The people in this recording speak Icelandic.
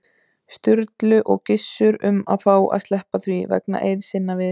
Sturlu og Gissur um að fá að sleppa því, vegna eiða sinna við